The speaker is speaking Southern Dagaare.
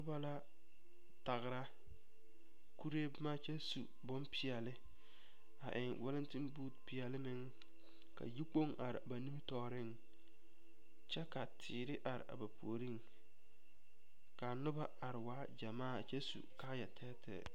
Noba la tagra kuree boma kyɛ su kparepeɛle a eŋ walɛnteŋ boote peɛle a eŋ ka yikpoŋ are ba nimitɔɔreŋ kyɛ ka teere are ba puoriŋ ka a noba a waa gyamaa kyɛ su kaayatɛɛtɛɛ.